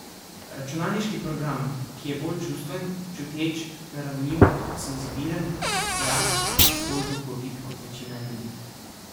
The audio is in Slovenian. Računalniški program, ki je bolj čustven, čuteč, ranljiv, senzibilen, ja, bolj duhovit kot večina ljudi.